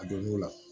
A donn'o la